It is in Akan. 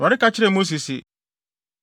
Awurade ka kyerɛɛ Mose se,